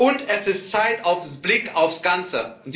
Und es ist Zeit für den Blick aufs Ganze.